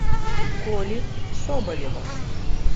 коли соболева